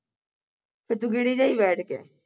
ਫਿਰ ਤੂੰ ਗਿਣੀ ਜਾਈ ਬੈਠ ਕੇ